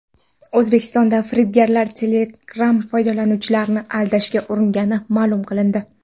O‘zbekistonda firibgarlar Telegram foydalanuvchilarini aldashga uringani ma’lum qilindi.